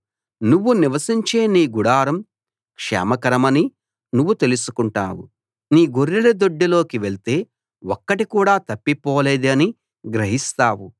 నువ్వు నివసించే నీ గుడారం క్షేమకరమని నువ్వు తెలుసుకుంటావు నీ గొర్రెల దొడ్డిలోకి వెళ్తే ఒక్కటి కూడా తప్పిపోలేదని గ్రహిస్తావు